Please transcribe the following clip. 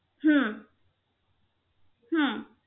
হম